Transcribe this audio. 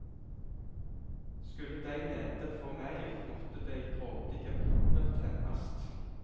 Skulle dei nede få meir, måtte dei grådige oppe temmast.